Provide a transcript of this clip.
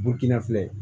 Bukini filɛ